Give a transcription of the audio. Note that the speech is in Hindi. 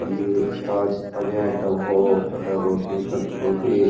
पनीर प्याज सभी आइटम हो बटर रोटी तंदूर रोटी --